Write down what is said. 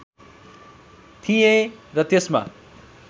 थिएँ र त्यसमा